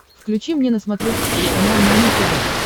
включи мне на смотрешке телеканал нано тв